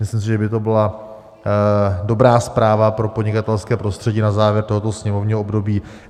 Myslím si, že by to byla dobrá zpráva pro podnikatelské prostředí na závěr tohoto sněmovního období.